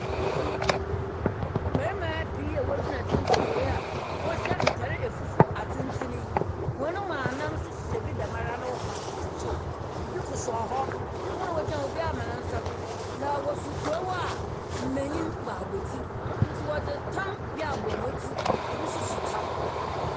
Mmarima pii a wogyina tsentsen hɔ yi a wɔhyɛ ntar afufuw atsentsen yi, hɔn mu anan nso hyehyɛ bi dɛm ara no kotokotow fam, ibi kosoa hɔ. Hɔn a wogyina hɔ no, ebi ama hɔn nsa do, na wofir kurow a mmenyin bɔ abotir, nti wɔdze tam bi abɔ hɔn tsir, ebi nso so kyɛw.